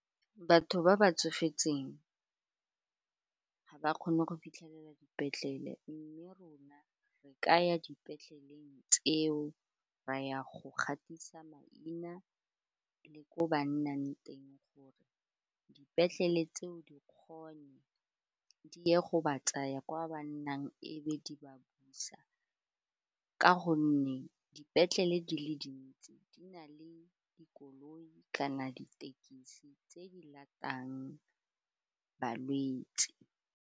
Batho ba ba tsofetseng ga ba kgone go fitlhelela dipetlele mme rona re ka ya dipetleleng tseo ra ya go gatisa maina le ko ba nnang teng gore dipetlele tseo di kgone di ye go ba tsaya kwa ba nnang ebe di ba busa ka gonne dipetlele di le dintsi di na le dikoloi kana ditekisi tse di latang balwetse.